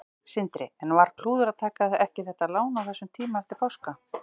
Sindri: En var klúður að taka ekki þetta lán á þessum tíma eftir páska?